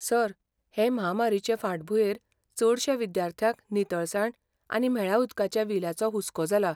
Sir, हे म्हामारीचे फांटभूंयेर चडश्या विद्यार्थ्यांक नितळसाण आनी म्हेळ्या उदकाच्या विल्याचो हुस्को जाला.